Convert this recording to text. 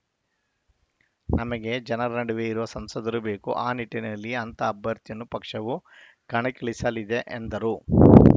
ನಮಗೆ ಜನರ ನಡುವೆ ಇರುವ ಸಂಸದರು ಬೇಕು ಆ ನಿಟ್ಟಿನಲ್ಲಿ ಅಂತಹ ಅಭ್ಯರ್ಥಿಯನ್ನು ಪಕ್ಷವು ಕಣಕ್ಕಿಳಿಸಲಿದೆ ಎಂದರು